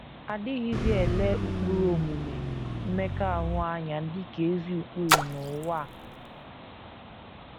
A dịghịzi ele ụkpụrụ omume mmekọahụ anya dị ka ezi ụkpụrụ n’ụwa a.